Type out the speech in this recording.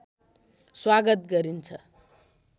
स्वागत गरिन्छ